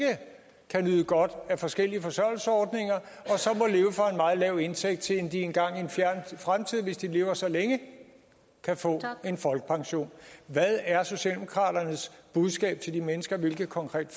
kan nyde godt af forskellige forsørgelsesordninger og lav indtægt til de en gang i en fjern fremtid hvis de lever så længe kan få folkepension hvad er socialdemokraternes budskab til de mennesker hvilke konkrete